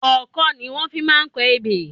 Ọkọ́ ni wọ́n fi máa ń kọ ebè.